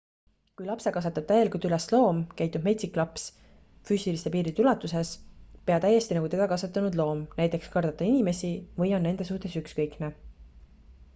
kui lapse kasvatab täielikult üles loom käitub metsik laps füüsiliste piiride ulatuses pea täiesti nagu teda kasvatanud loom näiteks kardab ta inimesi või on nende suhtes ükskõikne